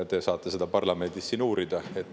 Te saate seda siin parlamendis uurida.